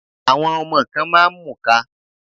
Àwọn ọmọ kan máa ń mùka.